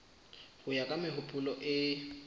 ho ya ka mehopolo e